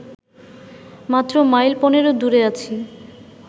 মাত্র মাইল পনেরো দূরে আছি